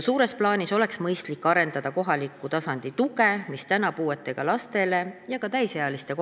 Suures plaanis oleks mõistlik arendada kohaliku tasandi tuge puudega lastele ja ka täisealistele.